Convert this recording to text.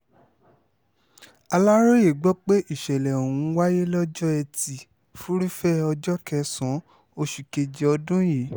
aláròye gbọ́ pé ìsẹ̀lẹ̀ ọ̀hún wáyé lọ́jọ́ etí furuufee ọjọ́ kẹsàn-án oṣù kejì ọdún yìí